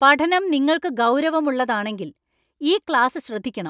പഠനം നിങ്ങൾക്ക് ഗൌരവമുള്ളതാണെങ്കിൽ ഈ ക്ലാസ് ശ്രദ്ധിക്കണം.